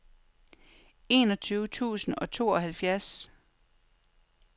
enogtyve tusind og tooghalvfjerds